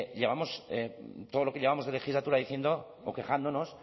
todo lo que llevamos de legislatura diciendo o quejándonos